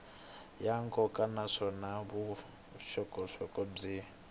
ya nkoka naswona vuxokoxoko byi